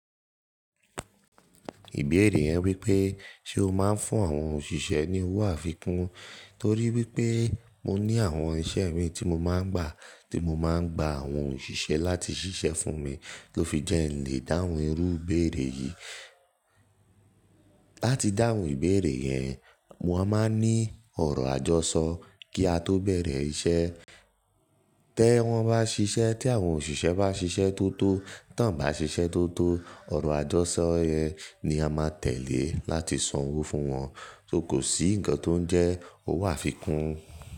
Ìbéèrè yẹn wípé ṣe ó máa ń fún àwọn òṣìṣẹ́ ní owó àfikún torí wípé mo ní àwọn iṣẹ́ mi tí mo máa ń gbà tí mo máa ń gba àwọn òṣìṣẹ́ láti ṣiṣẹ́ fún mi tó fi jẹ́ lè dáhùn irú ìbéèrè yìí. Láti dáhùn ìbéèrè yẹn, mo máa ń ní ọ̀rọ̀ àjọṣọ kí á tó bẹ̀rẹ̀ iṣẹ́. Tẹ wọ́n bá ṣiṣẹ́ tí àwọn òṣìṣẹ́ bá ṣiṣẹ́ tó tó tọ́n bá ṣiṣẹ́ tó tó ọ̀rọ̀ àjọṣọ yẹn ni a máa tẹ̀lé láti san owó fún wọn. So kò sí ǹkan tó ń jẹ́ owó àfikún.